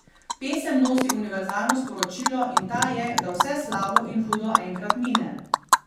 Pesem nosi univerzalno sporočilo in ta je, da vse slabo in hudo enkrat mine.